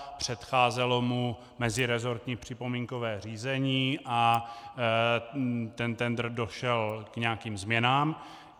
Předcházelo mu meziresortní připomínkové řízení a ten tendr došel k nějakým změnám.